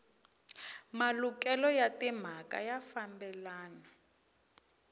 malukelo ya timhaka ya fambelana